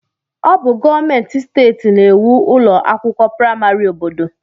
Ọ bụ gọọmentị steeti na-ēwu ụlọ akwụkwọ praịmarị obodo.